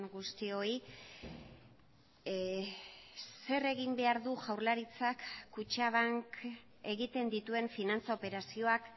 guztioi zer egin behar du jaurlaritzak kutxabank egiten dituen finantza operazioak